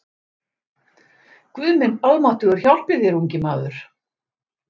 Guð minn almáttugur hjálpi þér ungi maður!